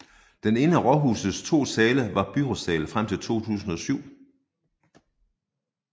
Den ene af rådhusets to sale var byrådssal frem til 2007